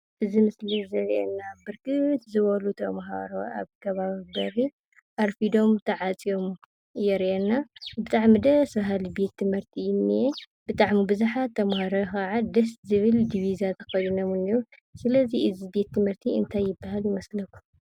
እዚ ምስሊ ዘሪኤና ብርክት ዝበሉ ተማሃሮ ኣብ ከባቢ በሪ ኣርፊዶም ተዓፅዮም የሪኣና ።ብጣዕሚ ደስ! በሃሊ ቤት ትምህርቲ እዩ ዝኒአ ።ብዙሓት ተምሃሮ ከዓ ደስ ዝብል ዲቢዛ ተከዲኖም እኒኣው። ስለዚ እዚ ቤት ትምህርቲ እንታይ ይበሃል ይመስለኩም ?